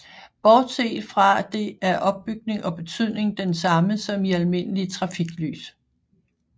Bortset fra det er opbygning og betydning den samme som i almindelige trafiklys